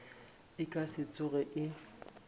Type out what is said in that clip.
e ka se tsoge e